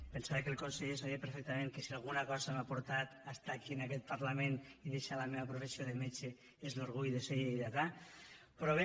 pensava que el conseller sabia perfectament que si alguna cosa m’ha portat a estar aquí en aquest parlament i deixar la meva professió de metge és l’orgull de ser lleidatà però bé